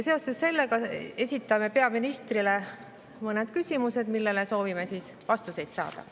Seoses sellega esitame peaministrile mõned küsimused, millele soovime vastuseid saada.